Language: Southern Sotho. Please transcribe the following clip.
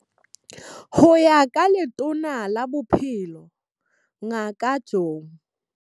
Ho ya ka Letona la Bophelo Ngaka Joe.